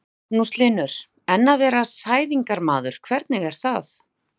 Magnús Hlynur: En að vera sæðingarmaður, hvernig er það?